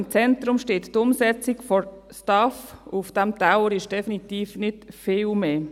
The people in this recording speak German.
Im Zentrum steht die Umsetzung der STAF, und auf diesem Teller hat es definitiv nicht viel mehr.